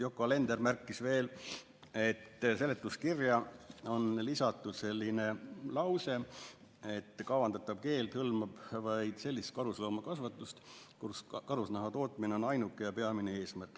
Yoko Alender märkis veel, et seletuskirja on lisatud selline lause, et kavandatav keeld hõlmab vaid sellist karusloomakasvatust, kus karusnaha tootmine on ainuke ja peamine eesmärk.